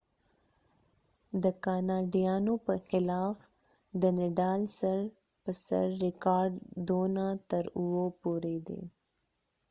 د نډال nadal د کاناډایانو په خلاف سر په سر ریکارډ 2-7 دي